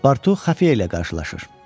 Passportu Xəfiyə ilə qarşılaşır.